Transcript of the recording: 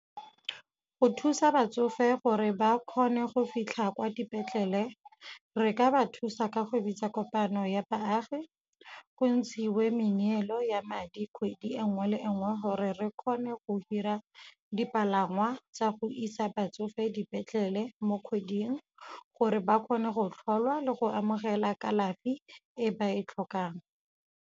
Go thusa batsofe gore ba kgone go fitlha kwa dipetlele re ka ba thusa ka go bitsa kopano ya baagi, go ntshiwe meneelo ya madi kgwedi e nngwe le e nngwe gore re kgone go hira dipalangwa tsa go isa batsofe dipetlele mo kgweding, gore ba kgone go tlholwa le go amogela kalafi e ba e tlhokang.